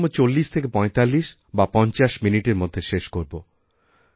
খুব বেশি হলে৪০৪৫ বা ৫০ মিনিটের মধ্যে শেষ করবো